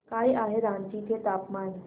काय आहे रांची चे तापमान